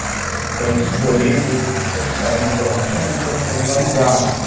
Estamos colhendo informações e estamos fazendo amizades.